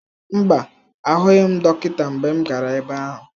Mba, ahụghị m dọkịta mgbe m gara ebe ahụ.